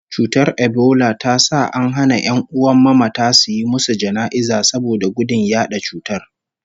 Cutar ebola ta sa an hana ƴan'uwan mamata suyi musu jana'iza saboda gudun yaɗa cutar